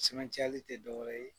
cɛmancɛ ali tɛ dɔ wɛrɛ ye